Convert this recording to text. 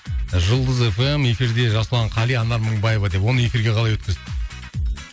жұлдыз эф эм эфирде жасұлан қали анар мыңбаева деп оны эфирге қалай өткізді